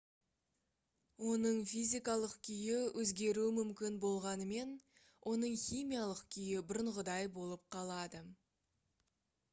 оның физикалық күйі өзгеруі мүмкін болғанымен оның химиялық күйі бұрынғыдай болып қалады